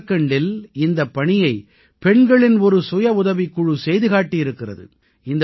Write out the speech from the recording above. ஜார்க்கண்டில் இந்தப் பணியைப் பெண்களின் ஒரு சுயவுதவிக் குழு செய்து காட்டியிருக்கிறது